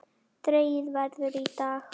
Dregið verður í dag.